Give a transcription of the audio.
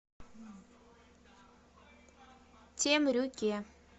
темрюке